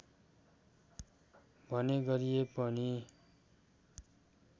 भन्ने गरिए पनि